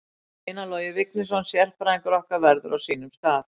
Einar Logi Vignisson sérfræðingur okkar verður á sínum stað.